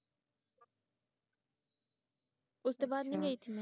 ਉਸ ਤੋ ਬਾਅਦ ਨਹੀ ਗਈ ਥੀ ਮੈਂ